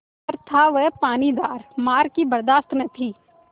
पर था वह पानीदार मार की बरदाश्त न थी